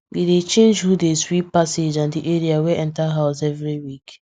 we dey change who dey sweep passage and the area wey enter house every week